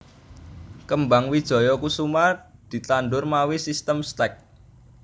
Kembang Wijaya Kusuma ditandhur mawi sistim stek